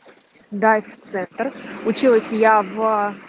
дайв-центр училась я в